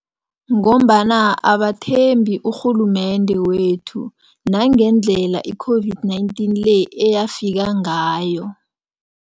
Ngombana abathembi urhulumende wethu nangendlela i-COVID-19 le eyafika ngayo.